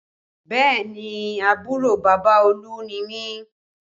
Bẹẹ ni, àbúrò bàbá Olú ni mi